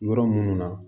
Yɔrɔ minnu na